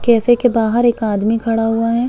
Cafe के बाहर एक आदमी खड़ा हुआ है।